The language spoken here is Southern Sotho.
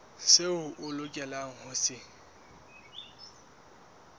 seo o lokelang ho se